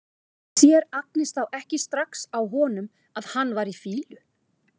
Sér Agnes þá ekki strax á honum að hann var í fýlu?